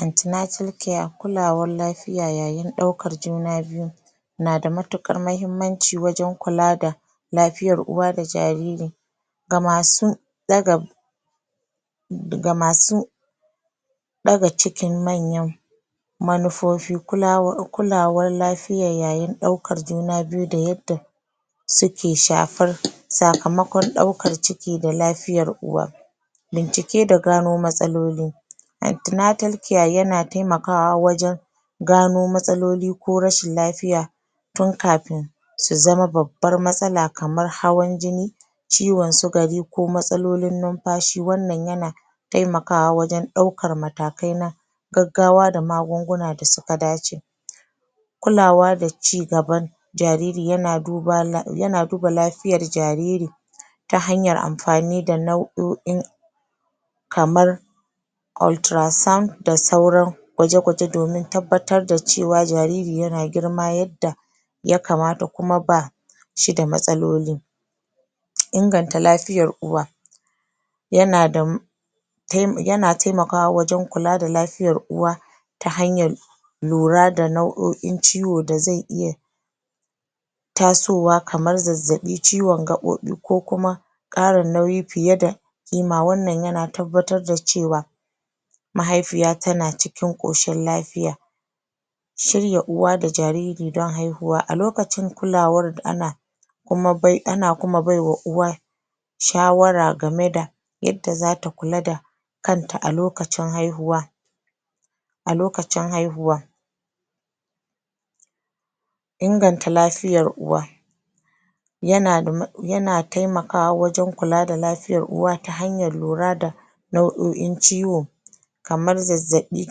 Antenatal care Kulawar lafiya yayin ɗaukar juna biyu na da matuƙar mahimmanci wajen kula da lafiya uwa da jariri ga masu ɗaga ga masu ɗaga cikin manyan manufofi kulawar lafiya yayin ɗaukan juna biyu da yadda suke shafar sakamakon ɗaukar ciki da lafiyan uwa bincike da gano matsaloli antenatal care yana taimakawa wajen gano matsaloli ko rashin lafiya tun kafin su zama babbar matsala kamar hawan jini ciwon sukari ko matsalolin numfashi. Wannan yana taimakawa wajen ɗaukan matakai na gaggawa da magunguna da suka dace kulawa da cigaban jariri yana duba lafiyar jariri ta hanyar amfani da nau'o'in kamar ultrasoundnda sauran gwaje-gwaje don tabbatar da jariri yana girma yadda aya kamata kuma ba shi da mastaloli inganta lafiyar uwa yana da yana taimkawa wajen kula da lafiyan uwa ta hanyar lura da nau'o'in ciwo da zai iya tasowa kamar zazzaɓi, ciwon gaɓoɓi ko kuma ƙara nauyi fiye da ƙima wannan yana tabbatar da cewa mahaifiya tana cikin ƙoshin lafiya Shirya uwa da jariri don haihuwa. A lokacin kulawar ana ana kuma bai wa uwa shawara game da yadda zata kula da kanta a lokacin haihuwa a lokacin haihuwa inganta lafiyar uwa yana taimakawa wajen kula da lafiyar uwa ta hanyan lura da nau'o'in ciwo kamar zazzabi,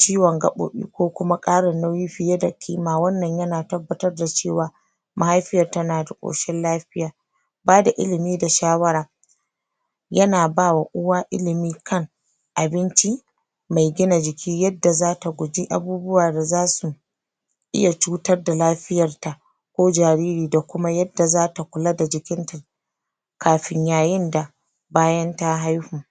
ciwon gaɓoɓi ko kuma ƙara nauyi fiye da kima. Wannan yana tabbatar da cewa mahaifiyar tana da ƙshin lafiya Bada ilimi da shawara yana bawa uwa ilimi kan abinci mai gina jiki yada zata guji abubuwa da zasu iya cutar da lafiyarta ko jariri da kumma yada zata kula da jikinta kafin yayin da bayan ta haihu